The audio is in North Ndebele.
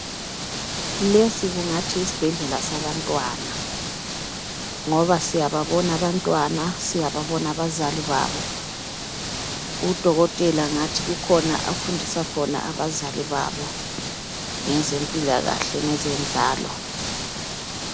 Lesi kungathi yisibhedlela sabantwana ngoba siyababona abantwana siyababona abazali babo udokotela ngathi kukhona afundisa khona abazali babo ngezempilakahle ngezenzalo.